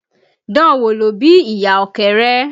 Dan wò ló bí ìyà Ọ̀kẹ́rẹ́